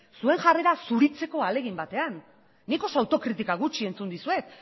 zuen jarrera zuritzeko ahalegin baten nik oso autokritika gutxi entzun dizuet